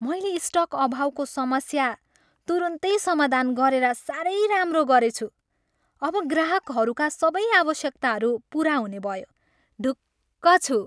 मैले स्टक अभावको समस्या तुरुन्तै समाधान गरेर साह्रै राम्रो गरेछु। अब ग्राहकहरूका सबै आवश्यकताहरू पुरा हुने भयो। ढुक्क छु।